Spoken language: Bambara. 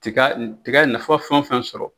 Tiga tiga nafa fɛn o fɛn sɔrɔ